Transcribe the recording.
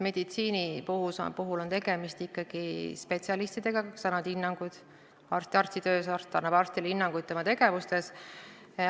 Meditsiini puhul on ikkagi tegemist spetsialistidega, kes annavad hinnanguid: arstitöös üks arst annab teisele arstile hinnanguid tema tegevuse kohta.